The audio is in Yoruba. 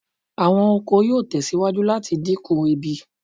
Awọn oko yoo tẹsiwaju lati dinku ebi